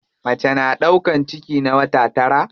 Mace na ɗaukan ciki na wata tara.